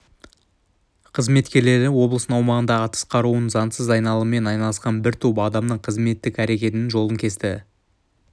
қызметкерлері облыстың аумағында атыс қаруының заңсыз айналымымен айналысқан бір топ адамның қызметтік әрекетінің жолын кесті